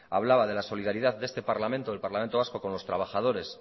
hablaba de la solidaridad de este parlamento del parlamento vasco con los trabajadores